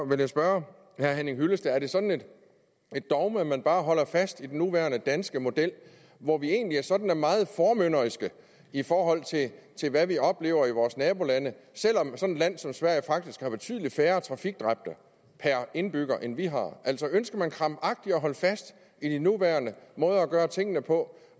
vil jeg spørge herre henning hyllested om det er sådan et dogme at man bare holder fast i den nuværende danske model hvor vi egentlig er sådan meget formynderiske i forhold til hvad vi oplever i vores nabolande selv om sådan et land som sverige faktisk har betydelig færre trafikdræbte per indbygger end vi har ønsker man krampagtigt at holde fast i de nuværende måder at gøre tingene på